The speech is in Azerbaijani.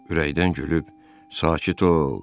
Ürəkdən gülüb, sakit ol.